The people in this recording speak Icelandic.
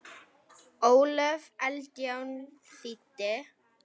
Ólöf Eldjárn þýddi.